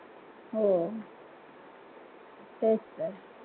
हो तेच तर